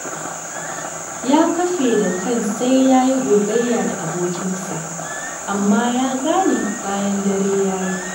Ya kafe a kan sai ya yi gogayya da abokinsa, amma ya gane bayan dare ya yi.